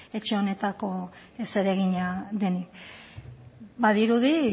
etxe honetarako zeregina denik badirudi